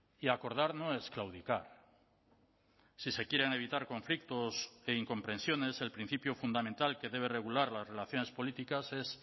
y acordar no es claudicar si se quieren evitar conflictos e incomprensiones el principio fundamental que debe regular las relaciones políticas es